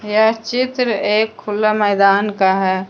यह चित्र एक खुला मैदान का है।